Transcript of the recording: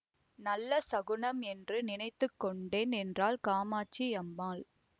நல்ல சகுனம் என்று நினைத்து கொண்டேன் என்றாள் காமாட்சி அம்மாள்